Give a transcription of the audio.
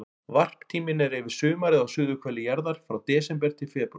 Varptíminn er yfir sumarið á suðurhveli jarðar, frá desember til febrúar.